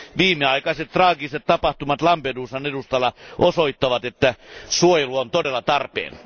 Viimeaikaiset traagiset tapahtumat Lampedusan edustalla osoittavat, että suojelu on todella tarpeen.